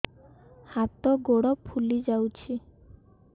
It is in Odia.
ହାତ ଗୋଡ଼ ଫୁଲି ଯାଉଛି